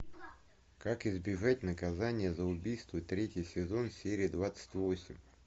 как избежать наказания за убийство третий сезон серия двадцать восемь